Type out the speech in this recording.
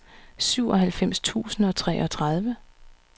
syvoghalvfems tusind og treogtredive